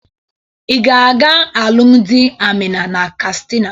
Ị ga-aga alụmdị Amina na Kastina.